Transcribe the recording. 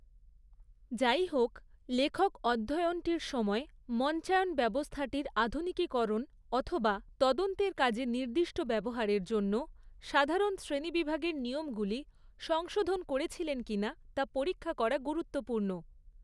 যাইহোক, লেখক অধ্যয়নটির সময় মঞ্চায়ন ব্যবস্থাটির আধুনিকীকরণ অথবা তদন্তের কাজে নির্দিষ্ট ব্যবহারের জন্য সাধারণ শ্রেণীবিভাগের নিয়মগুলি সংশোধন করেছিলেন কিনা তা পরীক্ষা করা গুরুত্বপূর্ণ।